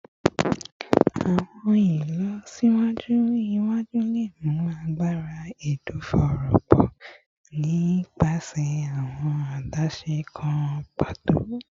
Awọn ilọsiwaju iwaju le mu agbara ẹdọfóró pọ si nipasẹ awọn adaṣe kan pato